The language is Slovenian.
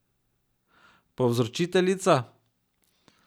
Povzročiteljica?